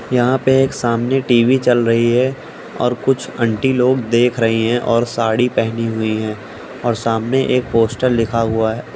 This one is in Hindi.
यहाँ पे एक सामने टी.वी चल रही है और कुछ आंटी लोग देख रही हैं और साड़ी पहनी हुई हैं और सामने एक पोस्टर लिखा हुआ है।